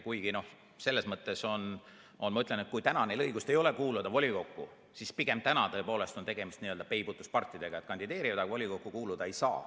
Kuigi selles mõttes ma ütlen, et kui neil praegu ei ole õigust kuuluda volikokku, siis on pigem praegu tõepoolest tegemist n-ö peibutuspartidega, kes küll kandideerivad, aga volikokku kuuluda ei saa.